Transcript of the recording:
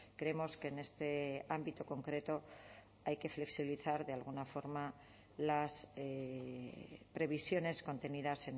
creemos que en este ámbito concreto hay que flexibilizar de alguna forma las previsiones contenidas